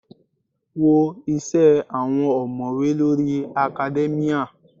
Wo isẹ àwọn omowe lórí academia.